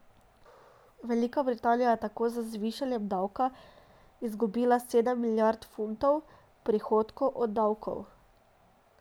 Velika Britanija je tako z zvišanjem davka izgubila sedem milijard funtov prihodkov od davkov.